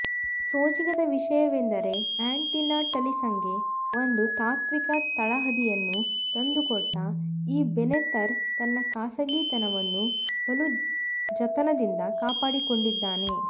ಸೋಜಿಗದ ವಿಷಯವೆಂದರೆ ಆ್ಯಂಟಿನಟಲಿಸಂಗೆ ಒಂದು ತಾತ್ವಿಕ ತಳಹದಿಯನ್ನು ತಂದುಕೊಟ್ಟ ಈ ಬೆನೆತರ್ ತನ್ನ ಖಾಸಗಿತನವನ್ನು ಬಲು ಜತನದಿಂದ ಕಾಪಾಡಿಕೊಂಡಿದ್ದಾನೆ